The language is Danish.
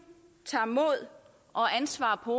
tager mod og ansvar på